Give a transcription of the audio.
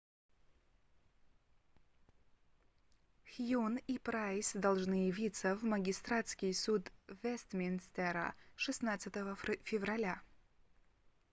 хьюн и прайс должны явиться в магистратский суд вестминстера 16 февраля